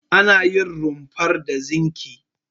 Ana yin rumfar da zinki.